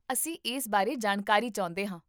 ਅਸੀਂ ਇਸ ਬਾਰੇ ਜਾਣਕਾਰੀ ਚਾਹੁੰਦੇ ਹਾਂ